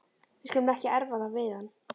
Við skulum ekki erfa það við hann.